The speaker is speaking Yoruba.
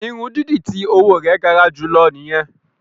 Irun dídì ti owo rẹ gara julọ nìyẹn.